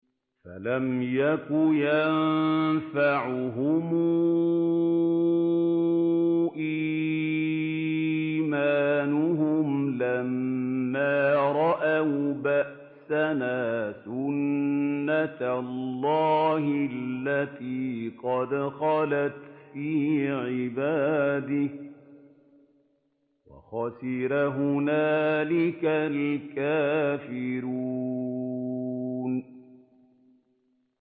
فَلَمْ يَكُ يَنفَعُهُمْ إِيمَانُهُمْ لَمَّا رَأَوْا بَأْسَنَا ۖ سُنَّتَ اللَّهِ الَّتِي قَدْ خَلَتْ فِي عِبَادِهِ ۖ وَخَسِرَ هُنَالِكَ الْكَافِرُونَ